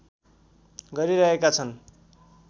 गरिरहेका छन्।